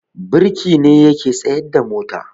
birki shi ne yake tsayarda mota